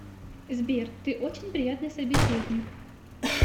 сбер ты очень приятный собеседник